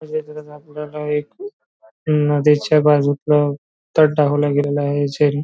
पुरवठा आहे एक नदीच्या बाजूला तट दाखविला गेला आहे सेरी --